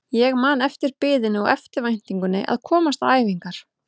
Ég man eftir biðinni og eftirvæntingunni að komast á æfingar.